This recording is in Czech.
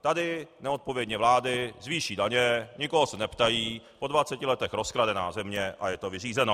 Tady neodpovědně vlády zvýší daně, nikoho se neptají, po 20 letech rozkradená země - a je to vyřízeno!